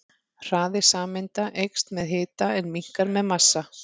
Hraði sameinda eykst með hita en minnkar með massa.